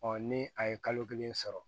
ni a ye kalo kelen sɔrɔ